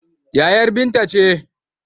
Yayar Binta ce.